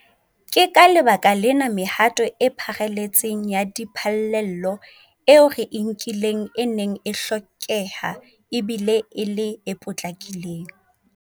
Ke ka lebaka lena mehato e pharaletseng ya diphallelo eo re e nkileng e neng e hlokeha e bile e le e potlakileng.